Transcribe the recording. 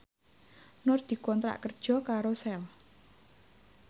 Nur dikontrak kerja karo Shell